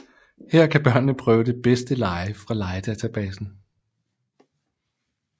Her kan børnene prøve de bedste lege fra legedatabasen